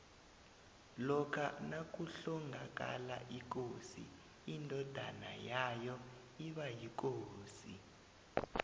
lokha nakuhlongakala ikosi indodona yayo iba yikosi